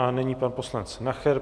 A nyní pan poslanec Nacher.